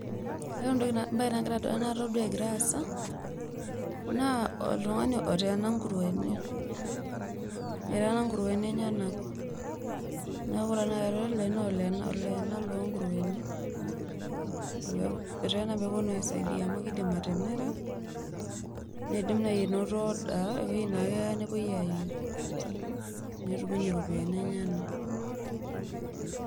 Ore embae natodua egira aasa, naa oltung'ani oteena ngurueni. Eteena ngurueni enyanak na oleenak longurueni. Eteena peponu aisaidia amu kidim atimira, nidim nai ainoto order eweji na keya nepoi ayieng'. Netum inye iropiyiani enyanak.